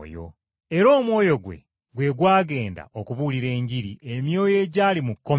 Era omwoyo gwe, gwe gwagenda okubuulira Enjiri emyoyo egyali mu kkomera.